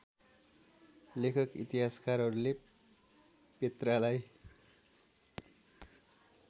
लेखक इतिहासकारहरूले पेत्रालाई